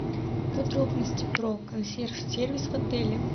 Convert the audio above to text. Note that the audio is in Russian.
подробности про консьерж сервис в отеле